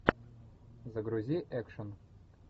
загрузи экшн